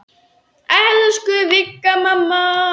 Elsku Vigga mamma.